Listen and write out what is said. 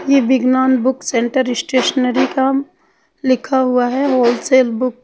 ये big known book centre stationery cum लिखा हुआ है होलसेल बुक --